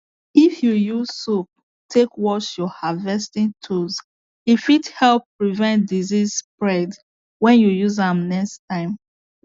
if you use soap take wash your harvesting tools e fit help prevent disease spread when you use am next time